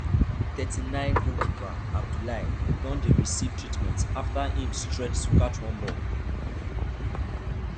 thirty-ninegoalkeeper abiboulaye don dey receive treatment afta im stretch to catch one ball